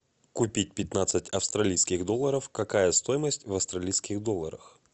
купить пятнадцать австралийских долларов какая стоимость в австралийских долларах